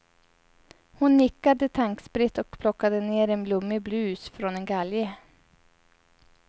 Hon nickade tankspritt och plockade ner en blommig blus från en galge.